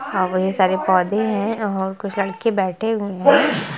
हा बहुत सारे पौधे हैं और कुछ लड़के बैठे हुए हैं।